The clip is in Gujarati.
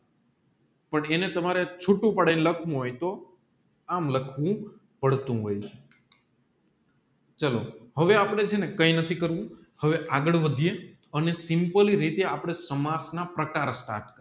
પણ એને તમારે ચૂંટુ પાડીને લખવું હોય તો આમ લખવું પડતું હોય ચાલો હવે આપણે ચેને કઈ નથી કરવું આવે અપગડવાઢીયે અને સિમ્પલી રીતે આપણે સમાજ ના